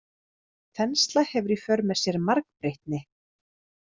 Þensla hefur í för með sér margbreytni.